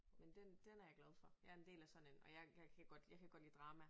Men den den er jeg glad for jeg en del af sådan en og jeg jeg kan godt lide jeg kan godt lide drama